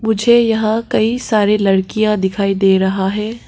मुझे यहां कई सारी लड़कियां दिखाई दे रहा है।